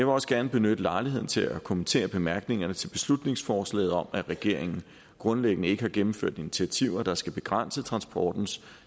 også gerne benytte lejligheden til at kommentere bemærkningerne til beslutningsforslaget om at regeringen grundlæggende ikke har gennemført initiativer der skal begrænse transportens